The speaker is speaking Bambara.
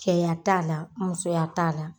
Cɛya t'a la musoya t'a la.